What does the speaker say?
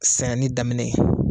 Sɛnɛni daminɛ ye.